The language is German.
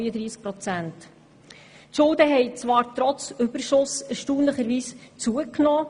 Die Schulden haben zwar trotz des Überschusses erstaunlicherweise zugenommen.